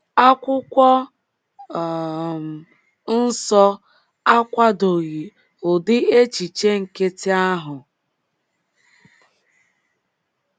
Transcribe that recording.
Akwụkwọ um nsọ akwadoghi ụdị echiche nkịtị ahu.